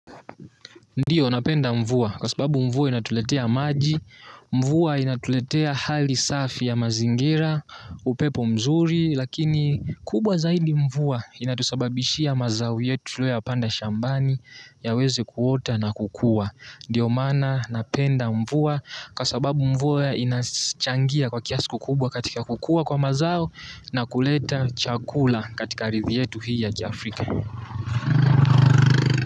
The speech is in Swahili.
Ndiyo napenda mvua kwa sababu mvua inatuletea maji, mvua inatuletea hali safi ya mazingira, upepo mzuri lakini kubwa zaidi mvua inatusababishia mazao yetu tuliyoyapanda shambani yaweze kuota na kukua. Ndiyo mana napenda mvua kwa sababu mvua inachangia kwa kiasi kukubwa katika kukua kwa mazao na kuleta chakula katika arithi yetu hii ya Jafrika.